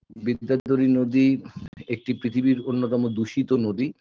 বিদ্যাধরী নদীর একটি পৃথিবীর অন্যতম দূষিত নদী